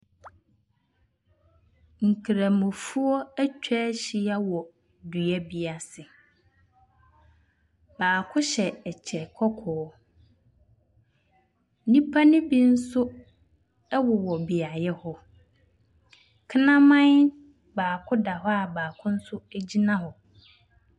Nkramofoɔ bi atwa ahyia wɔ dua bi ase. Baako hyɛ kyɛ kɔkɔɔ. Nnipa no bi nso wowɔ beaeɛ hɔ. Kraman baako da hɔ a baako nso gyina hɔ.